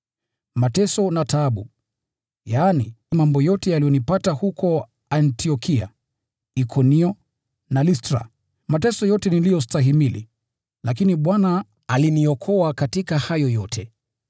mateso na taabu, yaani mambo yote yaliyonipata huko Antiokia, Ikonio na Listra, mateso yote niliyostahimili, lakini Bwana aliniokoa katika hayo yote.